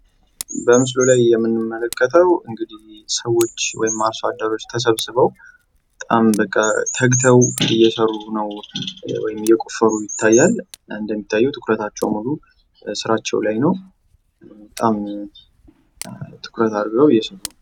በምስሉ ላይ የምንመለከተው እንግዲህ ሰዎች ወይም አርሶአደሮች ተሰብስበው በጣም በቃ ተግተው እየሰሩ ነው ወይም እየቆፈሩ ይታያል ። እንደሚታየው ትኩረታቸው ሙሉ ስራቸው ላይ ነው ። በጣም ትኩረት አርገው እየሰሩ ።